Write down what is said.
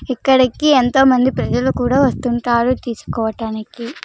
ఇక్కడికి ఎంతో మంది ప్రజలు కూడా వస్తుంటారు తీసుకోవటానికి.